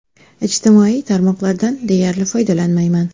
Ijtimoiy tarmoqlardan deyarli foydalanmayman.